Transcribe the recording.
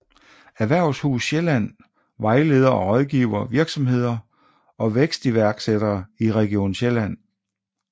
Erhvervshus Sjælland vejleder og rådgiver virksomheder og vækstiværksættere i region Sjælland